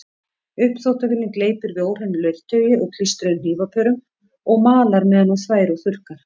Uppþvottavélin gleypir við óhreinu leirtaui og klístruðum hnífapörum og malar meðan hún þvær og þurrkar.